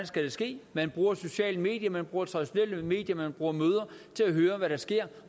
skal ske man bruger sociale medier man bruger traditionelle medier man bruger møder til at høre hvad der sker